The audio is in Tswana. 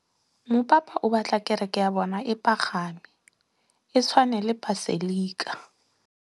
Mopapa o batla kereke ya bone e pagame, e tshwane le paselika.